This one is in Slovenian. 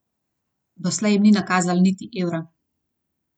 Doslej jim ni nakazala niti evra.